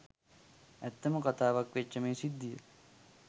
ඇත්තම කතාවක් වෙච්ච මේ සිද්ධිය